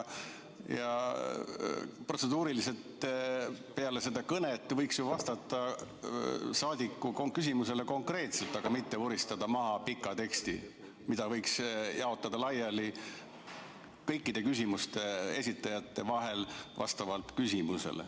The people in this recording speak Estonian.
Peale kõnet võiks ju vastata rahvasaadiku küsimusele konkreetselt, mitte vuristada maha pikka teksti, mille saaks jaotada laiali kõikide küsijate vahel vastavalt küsimusele.